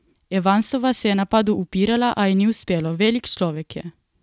Evansova se je napadu upirala, a ji ni uspelo: "Velik človek je.